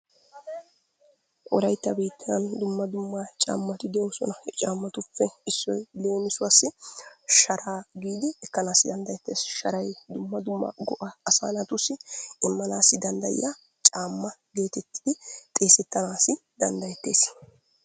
Wolaytta biittan dumma dumma caammati de'oosona. He caammattuppe issoy leemusuwaassi sharaa giidi ekanaassi dandayetteees. Sharay dumma dumma go'aa asaa naatussi imanaasi dandayiyaa caamma geetettidi xeesettanaassi dandayetees.